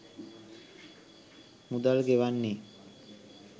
මුදල් ගෙවන්නේ.